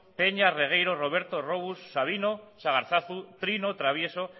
peña regueiro roberto rous sabino sagarzazu trino travieso